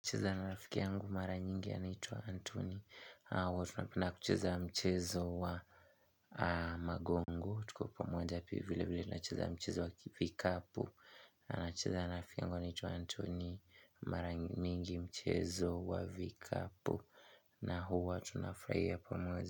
Nacheza na rafiki yangu mara nyingi anaitwa Antony huwa tunapenda kucheza mchezo wa magongo tukiwa pamoja vilevile tunacheza mchezo wa vikapu nacheza na rafiki yangu anaitwa Antony Mara nyingi mchezo wa vikapu na huwa tunafurahia pamoja.